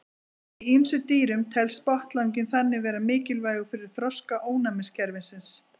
Í ýmsum dýrum telst botnlanginn þannig vera mikilvægur fyrir þroska ónæmiskerfisins.